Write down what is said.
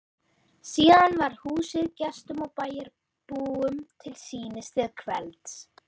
Síðan var húsið gestum og bæjarbúum til sýnis til kvelds.